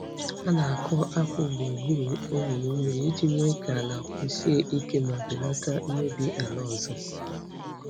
Ha na-akụ akpu gburugburu olulu mmiri iji mee ka ala kwụsie ike ma belata mmebi ala ọzọ.